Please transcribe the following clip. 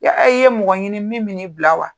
yaa i' ye mɔgɔ ɲini min in bila wa?